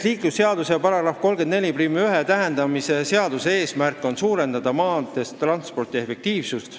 Liiklusseaduse § 341 täiendamise seaduse eesmärk on suurendada maanteetranspordi efektiivsust.